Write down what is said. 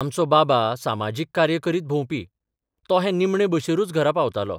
आमचो बाबा सामाजीक कार्य करीत भोंवपी तो हे निमणे बशिरूच घरा पावतालो.